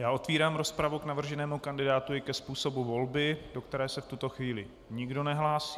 Já otevírám rozpravu k navrženému kandidátovi a ke způsobu volby, do které se v tuto chvíli nikdo nehlásí.